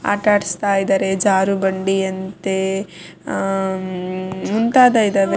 ಆಟ ಆಡಿಸ್ತಾ ಇದ್ದಾರೆ ಜಾರು ಬಂಡಿ ಅಂತೆ ಹ್ ಮುಂತಾದ ಇದಾವೆ-